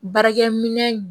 Baarakɛminɛn